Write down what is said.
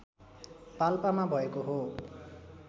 पाल्पामा भएको हो